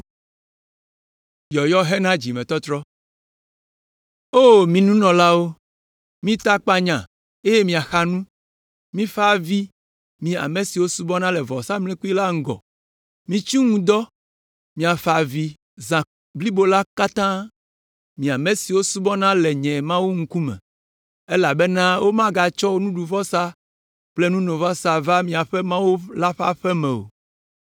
O mi nunɔlawo, mita akpanya eye mixa nu. Mifa avi, mi ame siwo subɔna le vɔsamlekpui la ŋgɔ, mitsi ŋu dɔ miafa avi zã blibo la katã, mi ame siwo subɔna le nye Mawu ŋkume. Elabena womagatsɔ nuɖuvɔsa kple nunovɔsa va miaƒe Mawu la ƒe aƒe me o.